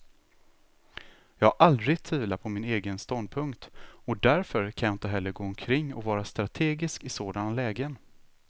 Jag har aldrig tvivlat på min egen ståndpunkt, och därför kan jag inte heller gå omkring och vara strategisk i sådana lägen.